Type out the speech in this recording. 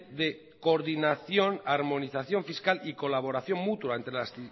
de coordinación armonización fiscal y colaboración mutua entre las